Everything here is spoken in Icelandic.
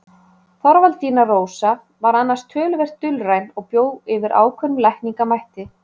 Þorvaldína Rósa var annars töluvert dulræn og bjó yfir ákveðnum lækningamætti.